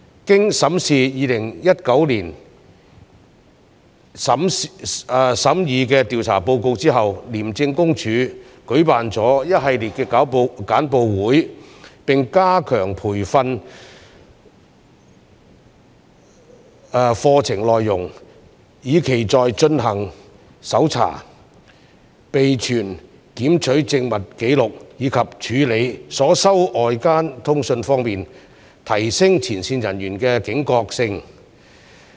經審視2019年審議的調查報告後，廉政公署舉辦了一系列簡報會並加強培訓課程內容，以期在進行搜查、備存檢取證物紀錄，以及處理所收到外間通訊方面，提升前線人員的警覺性。